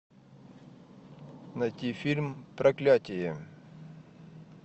найти фильм проклятие